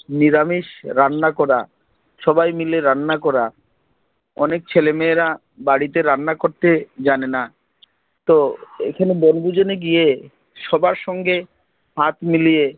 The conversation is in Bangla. নিরামিষ রান্না করা সবাই মিলে রান্না করা অনেক ছেলেমেয়েরা বাড়িতে রান্না করতে জানেনা তো এখানে বনভোজনে গিয়ে সবার সঙ্গে হাত মিলিয়ে